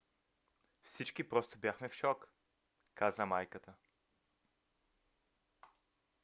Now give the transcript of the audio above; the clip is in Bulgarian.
"всички просто бяхме в шок, каза майката